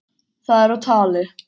Það er á tali.